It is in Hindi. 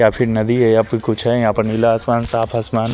या फिर नदी है या फिर कुछ है यहां पर नीला आसमान साफ आसमान--